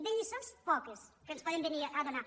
de lliçons poques que ens poden ve·nir a donar